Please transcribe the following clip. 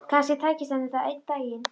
Kannski tækist henni það einn daginn.